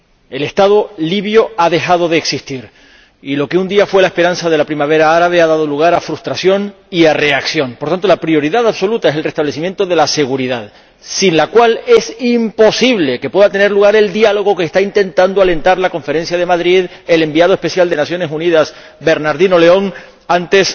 El Estado libio ha dejado de existir y lo que un día fue la esperanza de la Primavera árabe ha dado lugar a frustración y a reacción. Por lo tanto, la prioridad absoluta es el restablecimiento de la seguridad, sin la cual es imposible que pueda tener lugar el diálogo que está intentando alentar, en la Conferencia de Madrid, el enviado especial de las Naciones Unidas, Bernardino León, antes